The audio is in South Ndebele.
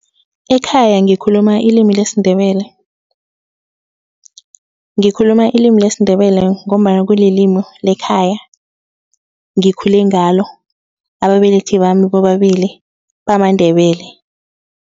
Ekhaya ngikhuluma ilimi lesiNdebele. Ngikhuluma ilimi lesiNdebele ngombana kulilimi lekhaya ngikhule ngalo. Ababelethi bami bobabili bamaNdebele.